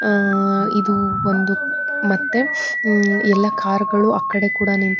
ಅ ಇದು ಒಂದು ಮತ್ತೆ ಎಲ್ಲಾ ಕಾರ್ ಗಳು ಆಕಡೆ ಕೂಡ ನಿಂತಿದೆ.